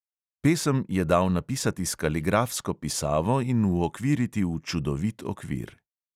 Pesem je dal napisati s kaligrafsko pisavo in uokviriti v čudovit okvir.